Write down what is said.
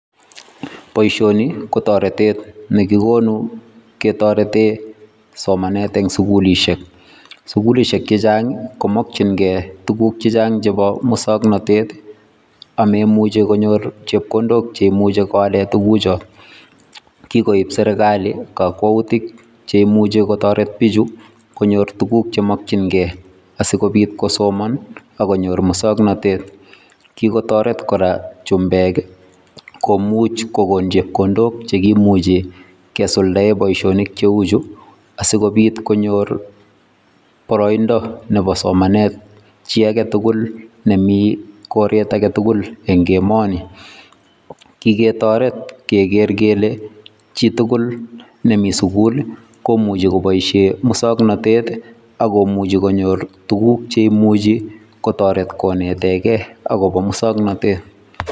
Boisioni ko taretet nekikonuu ketareteen somanet en sugulisheek sugulisheek chechaang ii komakyigei tuguuk chechaang chebo musangnatet ak meimuchei konyoor chepkondook cheimuchei kobaleen tuguuchaan kogoon serikali kakwautiik che imuche kotaretiin bichuu konyoor tuguuk che makyigei asikobiit kosomaan ak konyoor musangnatet, kikotareet kora chumbeek komuuch kogoon chepkondook chekimuchei kesuldaen boisioniik che uu chuu asikobiit konyoor baraindaa nebo somanet chii age tugul nemii bororiet age tugul eng emanii, kikotaret keger kole chii tugul nemii sugul ii komuuchei kobaisheen musangnatet ii akomuchei konyoor tuguuk che imuchi kotaretiin kongetegei agobo musangnatet.